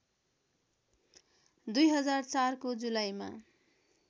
२००४ को जुलाईमा